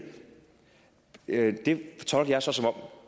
det tolker jeg så som